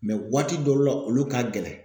waati dɔru la olu ka gɛlɛ.